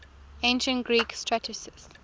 ancient greek satirists